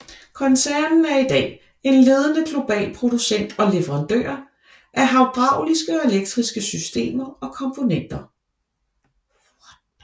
Koncernen er i dag en ledende global producent og leverandør af hydrauliske og elektriske systemer og komponenter